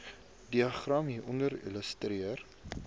diagram hieronder illustreer